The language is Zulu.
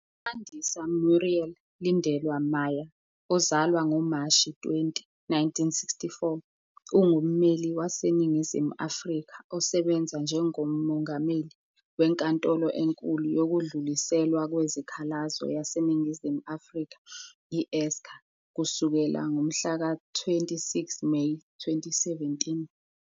UMandisa Muriel Lindelwa Maya, owazalwa ngoMashi 20, 1964, ungummeli waseNingizimu Afrika osebenze njengoMongameli weNkantolo eNkulu Yokudluliswa Kwezikhalazo YaseNingizimu Afrika, i-SCA, kusukela ngomhlaka 26 Meyi 2017.